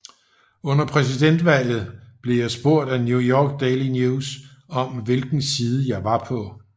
Under præsidentvalget blev jeg spurgt af New York Daily News om hvilken side jeg var på